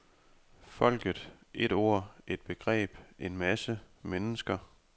Folket, et ord, et begreb, en masse, mennesker.